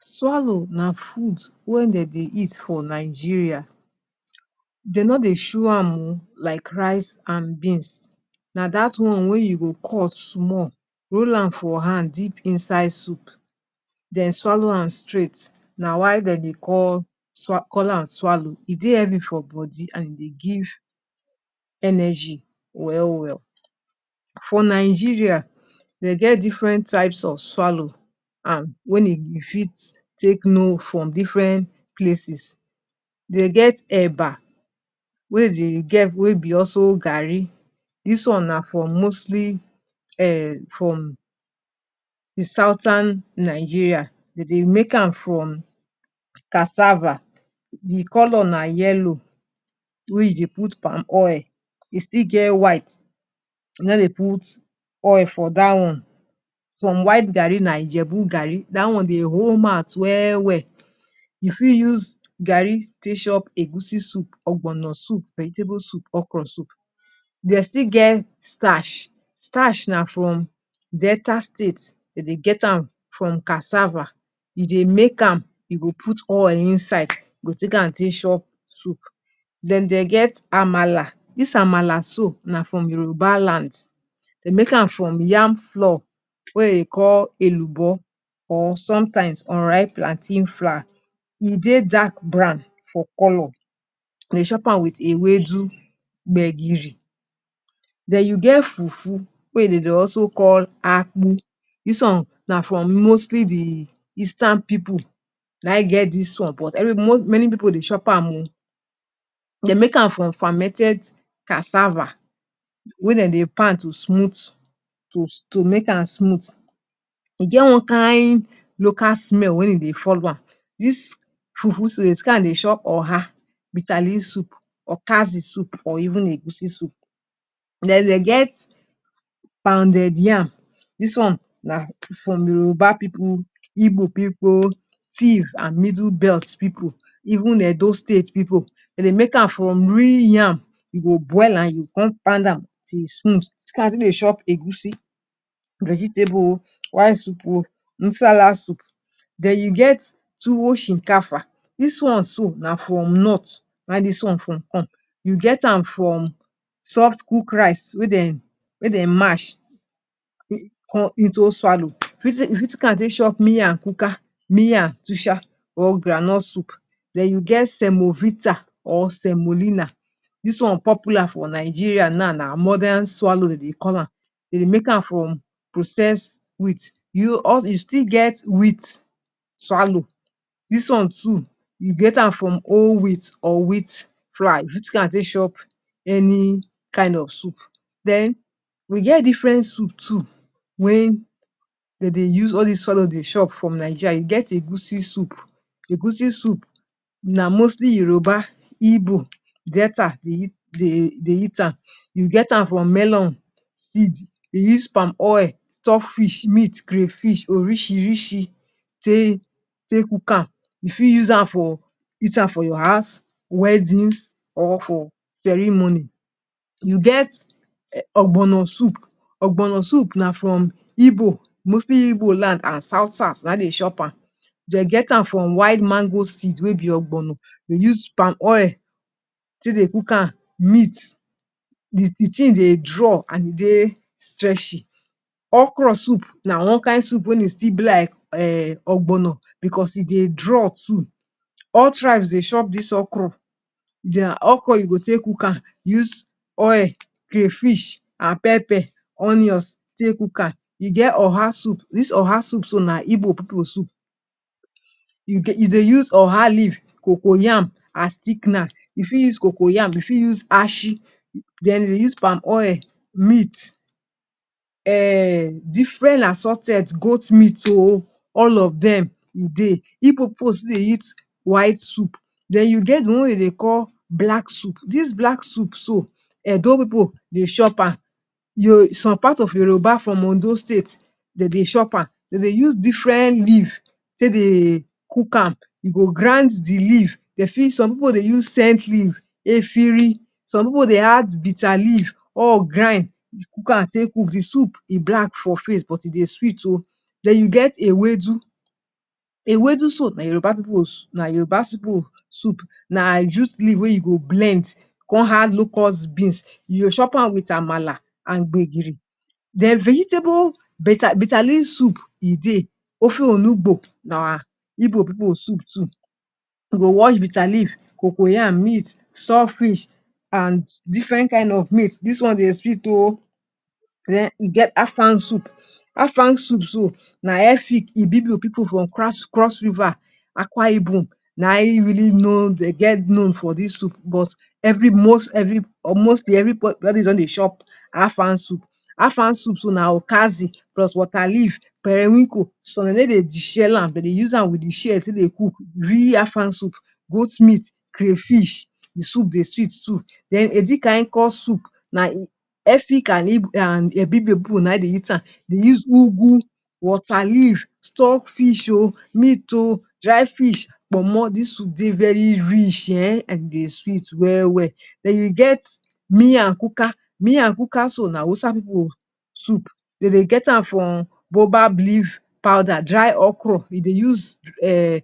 Swallow na food wey dem dey eat for Nigeria. Dey no dey chew am oh like rice and beans. Na that one wey you go cut small hol am for hand dip inside soup then swallow am straight. Na why dem dey call call am swallow e dey healthy for body and e give energy well well. For Nigeria dey get different types of swallow and wen e fit take know from different places. Dey get Eba wey dey get wey be also garri this one na from mostly um from di southern Nigeria. Dem dey make am from cassava. Di colour na yellow which dey put palm oil. E still get white, no dey put oil for that one. Some white garri na ijebu garri. that one dey hold mouth well well. you fit use garri take chop egusi soup, ogbono soup, vegetable soup, okro soup. dey still get Starch. starch na from Delta State dey dey get am from cassava you go make am, you go put oil inside am go take an take chop soup. Den dey get Amala. This Amala so, na from Yoruba Land. Dey make am from yam flour wey e call Elubo or sometimes unripe plantain flour. E dey dark brown for colour. Dey dey chop am with ewedu, gbegiri. Then you get fufu wey dey dey also call akpu. This one na from mostly de eastern people naIm get this one but many pipu dey chop am oh. Dey make am from fermented cassava wey dem dey pound to smooth to make am smooth. E get one kind local smell wey e dey follow am. This fufu so, dem dey carry am take dey chop oha bitter leaf soup, okasi soup or even egusi soup. Then dey get pounded yam; this one na from Yoruba pipu, Igbo pipu, Tiv and middle belt pipu even Edo State pipu. Dey dey make am from real yam. E go boil am, e go come pound am till e smooth. carry am take mae chop egusi, vegetable oh white soup oh Nsala soup. Then you get tuwo shinkafa. This one so na from North na im this one from come. You get am from soft cooked rice wey dem wey dem mash into swallow. e fit take am take chop miakuka, miatusha or groundnut soup. Then you get semovita or semolina. This one popular for Nigeria now na modern swallow dem dey call am. Dem dey make am from processed wheat. we still get wheat swallow. This one too you get am from whole wheat or wheat fry take am take chop any kind of soup. Den we get different soup too wen dey dey use all this swallow dey chop for Nigeria; we get Egusi soup. Egusi soup na mostly Yoruba, Igbo Delta dey dey eat am. you get am from melon seed, use palm oil, stock fish, meat, crayfish orisirisi tae cook am. you fit use am for eat am for your house weddings or for ceremony. We get ogbono soup; ogbono soup na from Igbo mostly Igbo land and south south na im dey chop am. Dey get am from white mango seed wey be ogbono. Dey use palm oil take dey cook am meat. Di thing dey draw and dey stretchy. Okro soup na one kind soup wen e still be like ogbono because e dey draw too. All tribes dey chop this okro. Okra you go take cook am, use oil crayfish an pepper onions take cook am. E get oha soup this oha soup so na igbo pipu soup. [?[ you dey use oha leave, cocoyam as thickener. you fit use cocoyam, you fit use achi, then e use palm oil, meat, um different assorted goat meat oh, all of dem e dey. Igbo pipu still dey eat white soup. Den we get di one wey dem dey call black soup. This black soup so Edo pipu dey chop am, some part of Yoruba from Ondo state, dey dey chop am. Dey dey use different leaves take dey cook am. e go grind di leaves, dey fit, some pipu dey use scent leave efirin, some pipu dey add bitter leaf all grind cook am take cook de soup e black for face but e dey sweet oh. Then you get ewedu. Ewedu soup na Yoruba pipu na yoruba pipu soup. Na juice leave wey you go blend, come add locust beans. You go chop am with Amala and gbegiri. Den vegetable, bitter leaf soup e dey, ofuolugbo na Igbo pipu soup too. you go wash bitter leaf, cocoyam, meat, stock fish and different kinds of meat. dis one dey sweet oh. den e get Afang soup: Afang soup too, na Efik Ibibio pipu from cross River Akwa Ibom na im really know dey get known for this soup but every most or mostly everybody don dey chop Afang soup. Afang soup too na okazi plus water leaf, periwinkle. Some dey no dey deshell am. Dey dey use am with de shell take dey cook real Afang soup, goat meat, crayfish. Di soup dey sweet too. Then Edikaikong soup na Efik and Ibibio people na im dey eat am. Dey use ugwu, water leave, stock fish oh, meat oh, dry fish, pomo, this soup dey very rich um and dey sweet well well. Then we get miakuka. Miakuka sou na Hausa pipu soup. Dem dey get am from Baobab leaf powder, dry okra e dey use um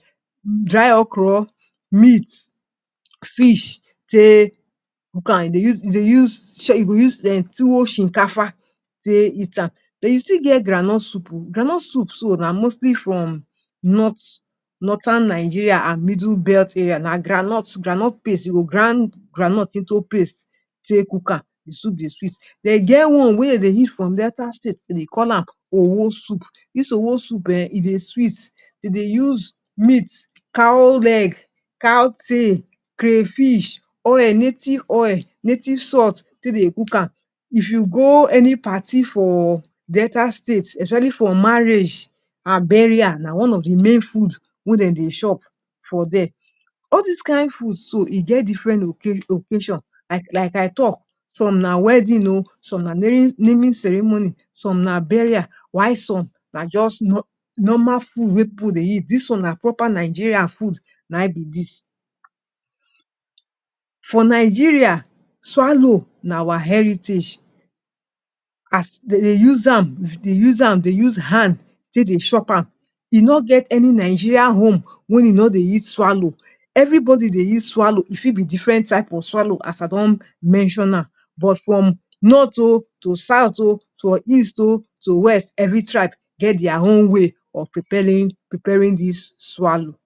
dry okra meat fish take cook am. e dey use Tuwo shinkafa take eat am. Then e still get groundnut soup oh. Groundnut soup so na mostly from North Northern Nigeria and middle belt area. Na groundnut groundnut paste you go grind groundnut into paste take cook am. Di soup dey sweet. dey get one wey dem dey use from delta state; dem dey call am owoh soup. This owoh soup um, e dey sweet. Dey dey use meat cow leg cow tail crayfish oil native oil, native salt take dey cook am. If you go any party for delta state especially for marriage and burial na one of di main food wey dem dey chop for there. All this kind food so, e get different occasion like like I talk some na wedding oh, some na naming ceremony, some na burial, while some na just normal food wey pipu dey eat. This one na proper Nigeria food na im be this. For Nigeria swallow na our heritage. as Dey dey use am, dey use hand take dey chop am. E no get any Nigerian home wen e no dey eat swallow. Everybody dey eat swallow; e fit be different type of swallow as I don mention am. But from North oh to south oh to east oh to west, every tribe get their own way of preparing preparing this swallow